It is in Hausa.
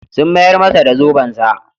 Sun mayar masa da zobensa.